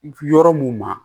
Yɔrɔ mun na